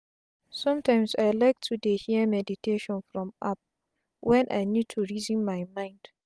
sometimes i like to dey hear meditation from app wen i need to reason my mind.